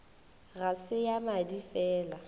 ga se ya madi fela